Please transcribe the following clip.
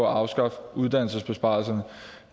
at afskaffe uddannelsesbesparelserne